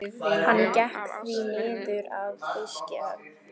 Hann gekk því niður að fiskihöfn.